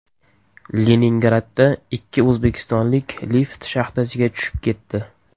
Leningradda ikki o‘zbekistonlik lift shaxtasiga tushib ketdi.